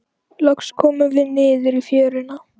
Loks komum við niður í fjöruna.